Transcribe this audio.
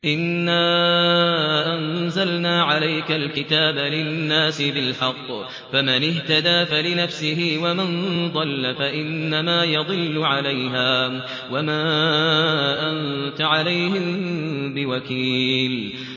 إِنَّا أَنزَلْنَا عَلَيْكَ الْكِتَابَ لِلنَّاسِ بِالْحَقِّ ۖ فَمَنِ اهْتَدَىٰ فَلِنَفْسِهِ ۖ وَمَن ضَلَّ فَإِنَّمَا يَضِلُّ عَلَيْهَا ۖ وَمَا أَنتَ عَلَيْهِم بِوَكِيلٍ